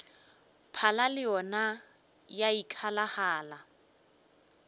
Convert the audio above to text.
phala le yona ya ikgalagala